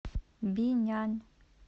бинян